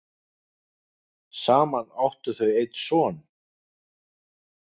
saman áttu þau einn son